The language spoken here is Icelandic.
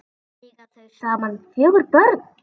Eiga þau saman fjögur börn.